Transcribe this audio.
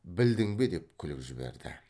білдің бе деп күліп жіберді